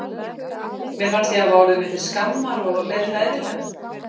Mér fannst ég hafa orðið mér til skammar og leið hræðilega.